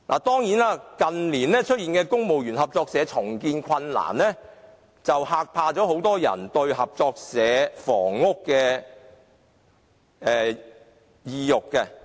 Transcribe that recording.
當然，近年公務員合作社出現重建困難，減低很多人購買合作社房屋的意欲。